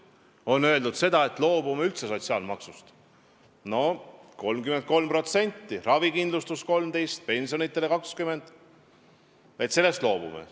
On öeldud seda, et loobume üldse sotsiaalmaksust, sellest 33%-st, millest ravikindlustus on 13% ja pensionidele läheb 20%.